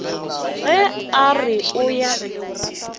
ge a re o ya